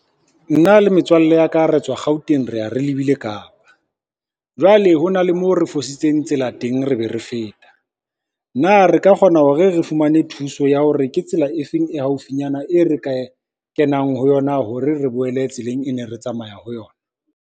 Nna le metswalle ya ka re tswa Gauteng re ya re lebile Kapa, jwale hona le mo re fositseng tsela teng re be re feta, na re ka kgona hore re fumane thuso ya hore ke tsela e feng e haufinyana e re ka e kenang ho yona, hore re boele tseleng e ne re tsamaya ho yona.